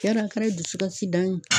Yarɔ a kɛra dusu kasi dan ye